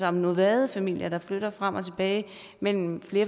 om nomadefamilier der flytter frem og tilbage mellem